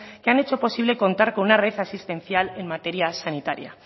que han hecho posible contar con una red asistencial en materia sanitaria